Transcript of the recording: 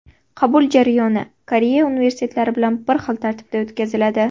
Qabul jarayoni Koreya universitetlari bilan bir xil tartibda o‘tkaziladi.